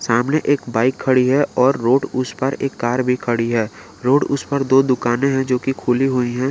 सामने एक बाइक खड़ी है और रोड उस पार एक कार भी खड़ी है रोड उस पार दो दुकाने है जो कि खुली हुई है।